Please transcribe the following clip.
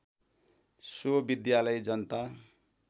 so विद्यालय जनता